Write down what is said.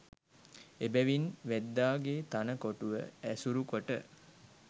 එබැවින් වැද්දාගේ තණ කොටුව ඇසුරු කොට